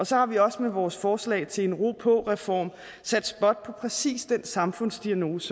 så har vi også med vores forslag til en ro på reform sat spot på præcis den samfundsdiagnose